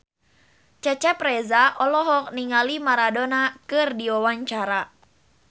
Cecep Reza olohok ningali Maradona keur diwawancara